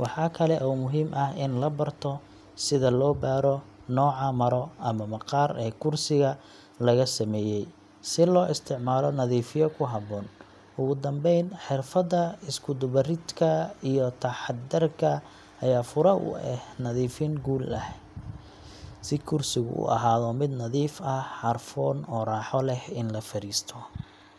Waxaa kale oo muhiim ah in la barto sida loo baadho nooca maro ama maqaar ee kursiga laga sameeyay, si loo isticmaalo nadiifiye ku habboon. Ugu dambayn, xirfadda isku dubbaridka iyo taxaddarka ayaa fure u ah nadiifin guul leh, si kursigu u ahaado mid nadiif ah, carfoon, oo raaxo leh in la fariisto.